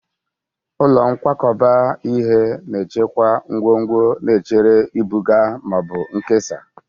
Ụlọ nkwakọba ihe na-echekwa ngwongwo na-echere ibuga ma ọ bụ nkesa.